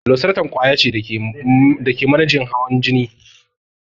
Losartan ƙwaya ce da ke manejin hawan jini.